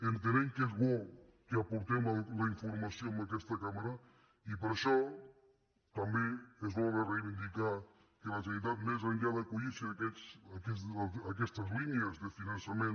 entenem que és bo que aportem la informació en aquesta cambra i per això també és bo de reivindicar que la generalitat més enllà d’acollirse a aquestes línies de finançament